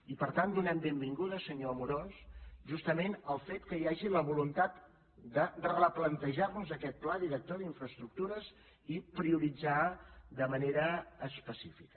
i per tant donem la benvinguda senyor amorós justament al fet que hi hagi la voluntat de replantejar nos aquest pla director d’infraestructures i prioritzar de manera específica